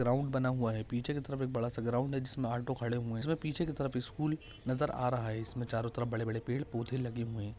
Ground बना हुआ है पीछे की तरफ बड़ा सा ग्राउंड है जिसमे ऑटो खड़े हुए है पीछे की तरफ स्कूल नजर आ रह है इसमे चारों तरफ बड़े बड़े पेड़ पौधे लगे हुए है।